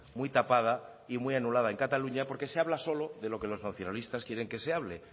muy tapada y muy anulada en cataluña porque se habla solo de lo que los nacionalistas quieren que se hable